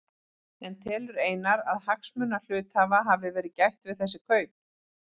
En telur Einar að hagsmuna hluthafa hafi verið gætt við þessi kaup?